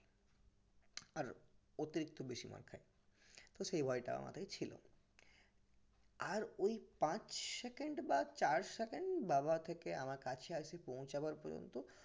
আর অতিরিক্ত বেশি মার খাই তো সেই ভয়টা আমারই ছিল আর ওই পাঁচ second বা চার second বাবা থেকে আমার কাছে এসে পৌঁছাবার পর্যন্ত